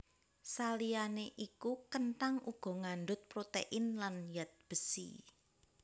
Saliyané iku kenthang uga ngandhut protein lan zat besi